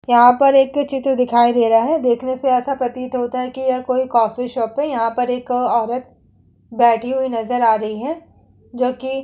यहां पर एक चित्र दिखाई दे रहा है। देखने से ऐसा प्रतीत होता है की यह कोई कॉफ़ी शॉप है। यहां पर एक औरत बैठी हुई नजर आ रही है जोकि --